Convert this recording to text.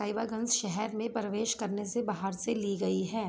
साहिबजारज शहर में प्रवेश करने से बहार से ली लगी है।